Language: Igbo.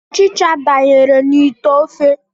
Ọchịcha danyere n'ite ofe ya.